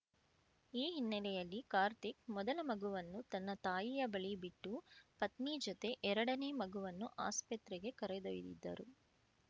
ಈ ಹಿನ್ನೆಲೆಯಲ್ಲಿ ಕಾರ್ತಿಕ್‌ ಮೊದಲ ಮಗುವನ್ನು ತನ್ನ ತಾಯಿಯ ಬಳಿ ಬಿಟ್ಟು ಪತ್ನಿ ಜೊತೆ ಎರಡನೇ ಮಗುವನ್ನು ಆಸ್ಪತ್ರೆಗೆ ಕರೆದೊಯ್ದಿದ್ದರು